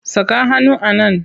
Saka hannu a nan!